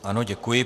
Ano, děkuji.